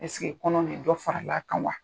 kɔnɔ nin de dɔ faral'a kan wa?